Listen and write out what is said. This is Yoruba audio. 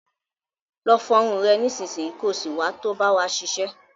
Lọ fọ irun rẹ nísinsìnyí, ko sì wá to bá wa ṣiṣẹ́.